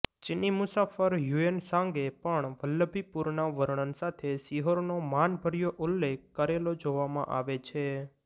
ચીની મુસાફર હ્યુએનસાંગે પણ વલ્લભીપુરના વર્ણન સાથે સિહોરનો માનભર્યો ઉલ્લેખ કરેલો જોવામાં આવે છે